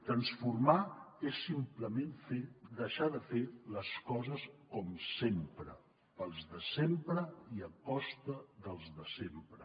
transformar és simplement deixar de fer les coses com sempre per als de sempre i a costa dels de sempre